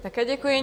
Také děkuji.